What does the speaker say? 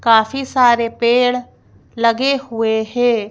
काफी सारे पेड़ लगे हुए हैं।